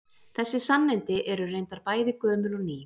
Þessi sannindi eru reyndar bæði gömul og ný.